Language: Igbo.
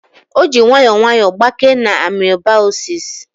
O ji nwayọọ nwayọọ gbakee na amoebaosis